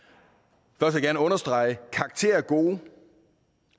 vil jeg gerne understrege at karakterer er gode